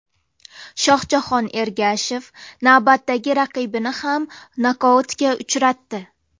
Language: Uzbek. Shohjahon Ergashev navbatdagi raqibini ham nokautga uchratdi.